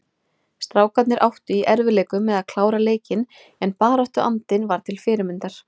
Strákarnir áttu í erfiðleikum með að klára leikinn en baráttuandinn var til fyrirmyndar.